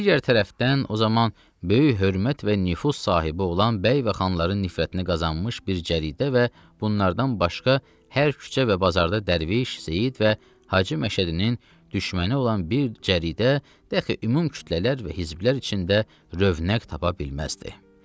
digər tərəfdən o zaman böyük hörmət və nüfuz sahibi olan bəy və xanların nifrətini qazanmış bir cəridə və bunlardan başqa hər küçə və bazarda dərviş, seyid və Hacı Məşədinin düşməni olan bir cəridə dəxi ümum kütlələr və hizblər içində rövnəq tapa bilməzdi.